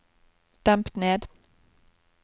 demp ned